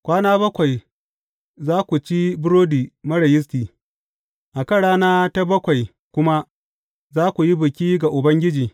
Kwana bakwai za ku ci burodi marar yisti, a kan rana ta bakwai kuma za ku yi biki ga Ubangiji.